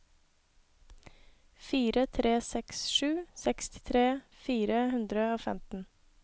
fire tre seks sju sekstitre fire hundre og femten